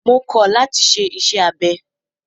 Mo kọ̀ láti ṣe iṣẹ́ abẹ!